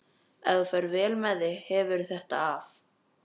Ef þú ferð vel með þig hefurðu þetta af.